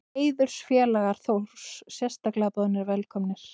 Heiðursfélagar Þórs sérstaklega boðnir velkomnir.